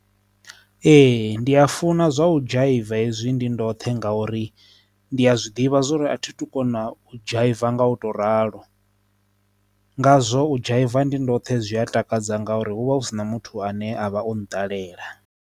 Ee, ndi a funa zwa u dzhaiva hezwi ndi ndo vhoṱhe nga uri ndi a zwiḓivha zwori a thi tu kona u dzhaiva nga u to ralo ngazwo u dzhaiva ndi ndo zwoṱhe zwi a takadza nga uri hu vha hu si na muthu ane avha o no ṱalela.